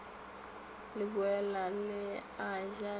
leboela le a ja le